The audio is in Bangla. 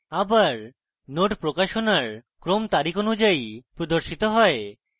আবার nodes প্রকাশনার ক্রম তারিখ অনুযায়ী প্রদর্শিত হয়